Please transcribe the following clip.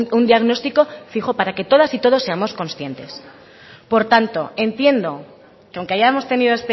un diagnóstico fijo para que todas y todos seamos conscientes por tanto entiendo que aunque hayamos tenido